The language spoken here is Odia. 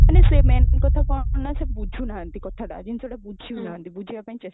ମାନେ ସେ main କଥା କଣ ନା ସେ ବୁଝୁନାହାନ୍ତି କଥାଟା ଜିନିଷଟା ବୁଝୁନାହାନ୍ତି ବୁଝିବା ପାଇଁ ଚେଷ୍ଟା